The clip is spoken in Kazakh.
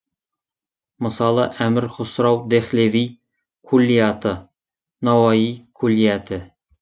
мысалы әмір хұсрау дехлеви куллияты науаи куллияті